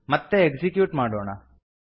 ಮತ್ತೆ ಎಕ್ಸಿಕ್ಯೂಟ್ ಮಾಡೋಣ